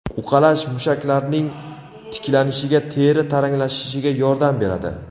Uqalash mushaklarning tiklanishiga, teri taranglashishiga yordam beradi.